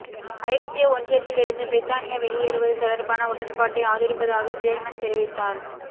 ஐரோப்பிய ஒன்றியத்திலிருந்து பிரித்தானியா வெளியேறுவது தொடர்பான உடன்பாட்டை ஆதரிப்பதாக ஜேர்மன் தெரிவித்